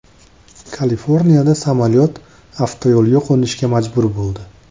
Kaliforniyada samolyot avtoyo‘lga qo‘nishga majbur bo‘ldi.